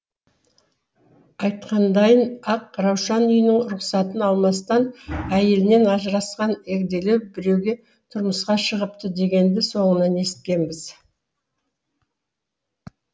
айтқандайын ақ раушан үйінің рұқсатын алмастан әйелінен ажырасқан егделеу біреуге тұрмысқа шығыпты дегенді соңынан естігенбіз